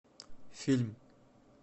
фильм